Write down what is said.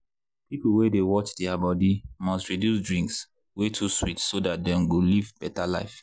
people wey dey watch their body must reduce drinks wey too sweet so dat dem go live better life.